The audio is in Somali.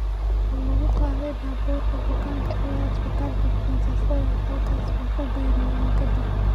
Wuxuu lagu qaaday baabuurka bukaanka ilaa isbitaalka Princess Royal, halkaasoo uu ku geeriyooday kadib.